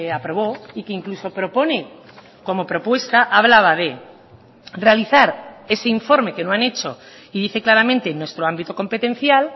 aprobó y que incluso propone como propuesta hablaba de realizar ese informe que no han hecho y dice claramente nuestro ámbito competencial